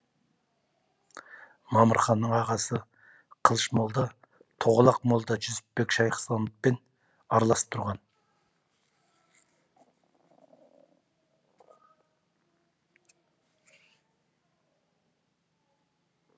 мамырханның ағасы қылыш молда тоғалақ молда жүсіпбек шайхысламовпен араласып тұрған